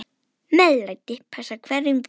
MEÐLÆTI passar hverjum grunni.